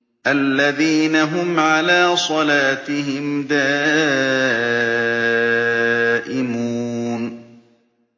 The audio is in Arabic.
الَّذِينَ هُمْ عَلَىٰ صَلَاتِهِمْ دَائِمُونَ